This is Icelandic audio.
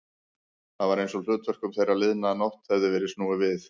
Það var einsog hlutverkum þeirra liðna nótt hefði verið snúið við.